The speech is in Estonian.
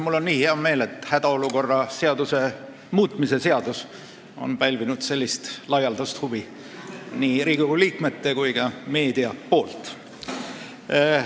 Mul on nii hea meel, et hädaolukorra seaduse muutmise seadus on pälvinud sellist laialdast huvi nii Riigikogu liikmete kui ka meedia poolt.